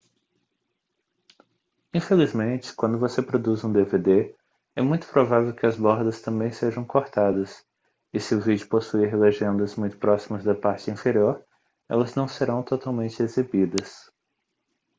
infelizmente quando você produz um dvd é muito provável que as bordas também sejam cortadas e se o vídeo possuir legendas muito próximas da parte inferior elas não serão totalmente exibidas